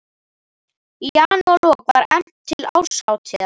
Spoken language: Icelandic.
Í janúarlok var efnt til árshátíðar